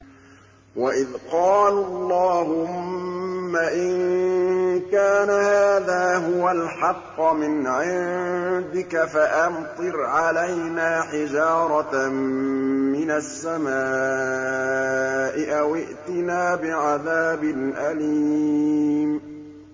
وَإِذْ قَالُوا اللَّهُمَّ إِن كَانَ هَٰذَا هُوَ الْحَقَّ مِنْ عِندِكَ فَأَمْطِرْ عَلَيْنَا حِجَارَةً مِّنَ السَّمَاءِ أَوِ ائْتِنَا بِعَذَابٍ أَلِيمٍ